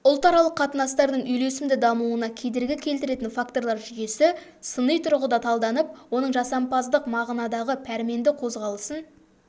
ұлтаралық қатынастардың үйлесімді дамуына кедергі келтіретін факторлар жүйесі сыни тұрғыда талданып оның жасампаздық мағынадағы пәрменді қозғалысын